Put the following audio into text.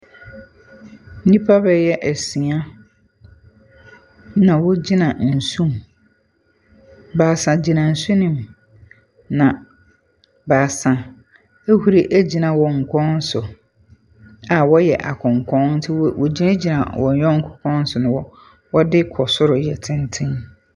Nnipa bɛyɛ asia na wogyina nsu ho. Baasaa gyina nsu no mu, na baasa ahuri agyina kokɔn so a wɔreyɛ akonkɔn nti, wogyinagyina akonkɔn na wɔde kɔ soro yɛ tenten.